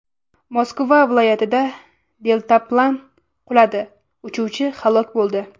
Moskva viloyatida deltaplan quladi, uchuvchi halok bo‘ldi.